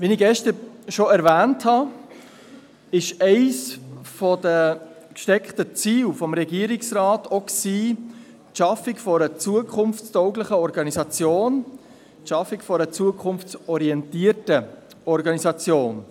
Wie ich gestern schon erwähnt habe, war eines der gesteckten Ziele des Regierungsrates auch die Schaffung einer zukunftstauglichen Organisation, die Schaffung einer zukunfts Organisation.